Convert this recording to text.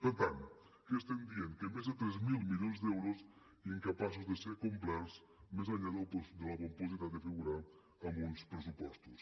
per tant què estem dient que més de tres mil milions d’euros incapaços de ser complerts més enllà de la pompositat de figurar en uns pressupostos